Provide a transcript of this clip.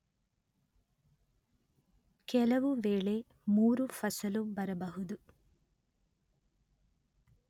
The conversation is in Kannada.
ಕೆಲವು ವೇಳೆ ಮೂರು ಫಸಲೂ ಬರಬಹುದು